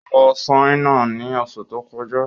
Ó lọ Ṣáínà ni oṣù tó kọjá